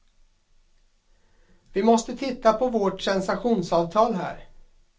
Vi måste titta på vårt sensationsavtal här.